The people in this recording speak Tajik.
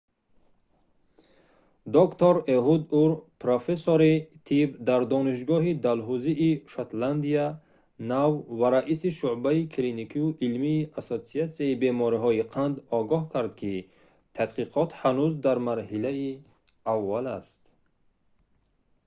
доктор эҳуд ур профессори тибб дар донишгоҳи далҳузии шотландияи нав ва раиси шуъбаи клиникию илмии ассотсиатсияи бемориҳои қанд огоҳ кард ки тадқиқот ҳанӯз дар марҳилаи аввал аст